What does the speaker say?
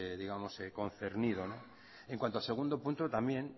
concernido en cuanto al segundo punto también